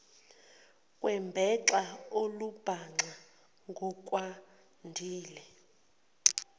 kwembaxa olumbaxa ngokwandile